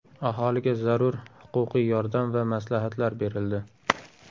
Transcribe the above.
Aholiga zarur huquqiy yordam va maslahatlar berildi.